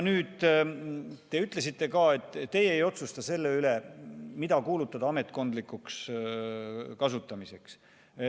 Nüüd, te ütlesite ka, et teie ei otsusta selle üle, mida kuulutada ametkondlikuks kasutamiseks.